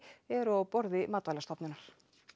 eru á borði Matvælastofnunar